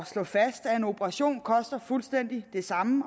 slog fast at en operation koster fuldstændig det samme